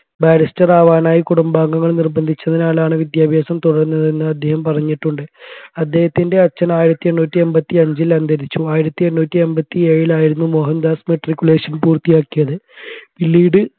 barrister ആവനാഴി കുടുംബാംഗങ്ങൾ നിര്ബന്ധിച്ചതിനാലാണ് വിദ്യാഭ്യാസം തുടർന്നതെന്ന് അദ്ദേഹം പറഞ്ഞിട്ടുണ്ട് അദ്ദേഹത്തിന്റെ അച്ഛൻ ആയിരത്തി എണ്ണൂറ്റി എമ്പതി അഞ്ചിൽ അന്തരിച്ചു ആയിരത്തി എണ്ണൂറ്റി എമ്പതി കീഴിലായിരുന്നു മോഹൻദാസ് matriculation പൂർത്തിയാക്കിയത് പിന്നീട്